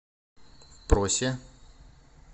просе